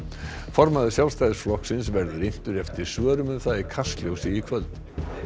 formaður Sjálfstæðisflokksins verður inntur eftir svörum um það í Kastljósi í kvöld